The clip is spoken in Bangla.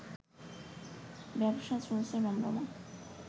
ব্যবসাও চলছে রমরমা